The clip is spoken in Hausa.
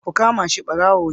Ku kama shi. barawo ne.